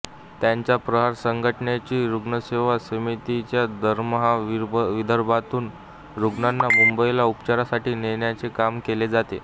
त्यांच्या प्रहार संघटनेच्या रुग्णसेवा समितीच्या दरमहा विदर्भातून रुग्णांना मुंबईला उपचारासाठी नेण्याचे काम केले जाते